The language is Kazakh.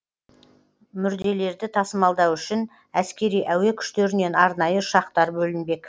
мүрделерді тасымалдау үшін әскери әуе күштерінен арнайы ұшақтар бөлінбек